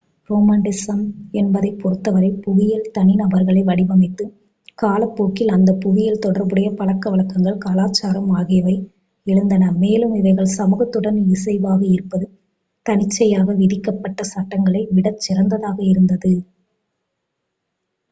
romanticism என்பதைப் பொறுத்தவரை புவியியல் தனிநபர்களை வடிவமைத்தது காலப்போக்கில் அந்த புவியியல் தொடர்புடைய பழக்கவழக்கங்கள் கலாச்சாரம் ஆகியவை எழுந்தன மேலும் இவைகள் சமூகத்துடன் இசைவாக இருப்பது தன்னிச்சையாக விதிக்கப்பட்ட சட்டங்களை விட சிறந்ததாக இருந்தது